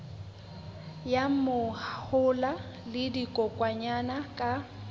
ya mahola le dikokwanyana ka